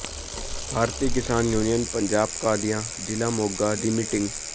ਭਾਰਤੀ Kisan union Punjab Qadian ਜ਼ਿਲ੍ਹਾ ਮੋਗਾ ਦੀ meeting